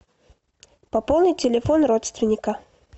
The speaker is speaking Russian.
пополнить телефон родственника